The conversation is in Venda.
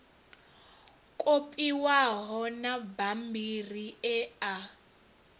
kopiwaho na mabammbiri e a